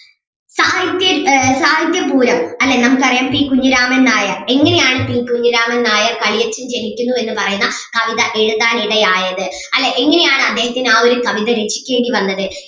സാഹിത്യ സാഹിത്യപൂരം അല്ലേ നമുക്ക് അറിയാം പി കുഞ്ഞിരാമൻ നായർ എങ്ങനെയാണ് പി കുഞ്ഞിരാമൻ നായർ കളിയച്ഛൻ ജനിക്കുന്നു എന്ന് പറയുന്ന കവിത എഴുതാൻ ഇടയായത് അല്ലേ എങ്ങനെയാണ് അദ്ദേഹത്തിന് ആ ഒരു കവിത രചിക്കേണ്ടി വന്നത്.